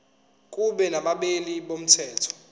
kube nabameli bomthetho